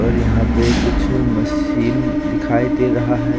और यहां पे कुछ मशीन दिखाई दे रहा है।